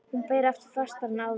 Hún ber aftur, fastar en áður.